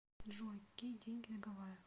джой какие деньги на гавайях